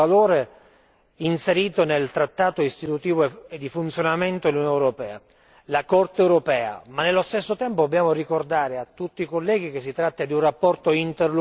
Abbiamo l'esigenza di dare attuazione a un principio e a un valore inserito nel trattato istitutivo e di funzionamento dell'Unione europea la Corte europea.